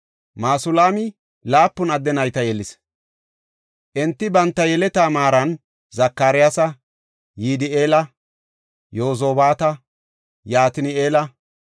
Masulaami laapun adde nayta yelis; enti banta yeletaa maaran Zakariyasa, Yidi7eela, Yozobaata, Yatini7eela,